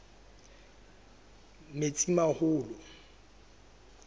metsimaholo